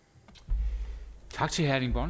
at